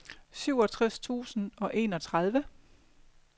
syvogtres tusind og enogtredive